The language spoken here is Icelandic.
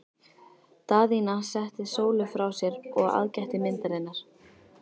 Daðína setti Sólu frá sér og aðgætti myndirnar.